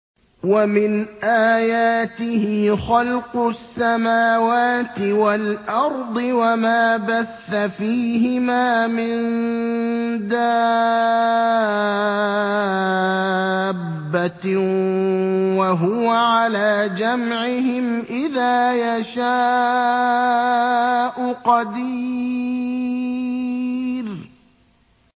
وَمِنْ آيَاتِهِ خَلْقُ السَّمَاوَاتِ وَالْأَرْضِ وَمَا بَثَّ فِيهِمَا مِن دَابَّةٍ ۚ وَهُوَ عَلَىٰ جَمْعِهِمْ إِذَا يَشَاءُ قَدِيرٌ